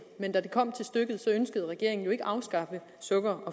men da det kom til stykket ønskede regeringen jo ikke at afskaffe sukker og